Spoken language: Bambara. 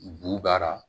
Bu b'a la